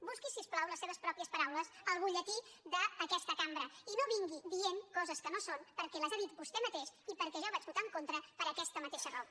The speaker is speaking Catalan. busqui si us plau les seves pròpies paraules al butlletí d’aquesta cambra i no vingui dient coses que no són perquè les ha dites vostè mateix i perquè jo vaig votar en contra per aquesta mateixa raó